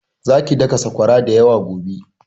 Zaki daka saƙwara da yawa gobe!